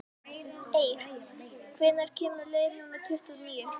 Eir, hvenær kemur leið númer tuttugu og níu?